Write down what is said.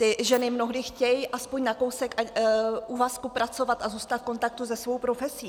Ty ženy mnohdy chtějí aspoň na kousek úvazku pracovat a zůstat v kontaktu se svou profesí.